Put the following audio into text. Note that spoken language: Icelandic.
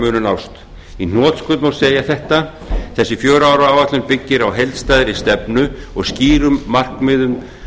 munu nást í hnotskurn má segja þetta þessi fjögurra ára áætlun byggir á heildstæðri stefnu og skýrum markmiðum